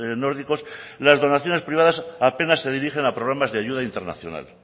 nórdicos las donaciones privadas apenas se dirigen a programas de ayuda internacional